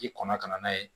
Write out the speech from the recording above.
K'i kɔnɔ ka na n'a ye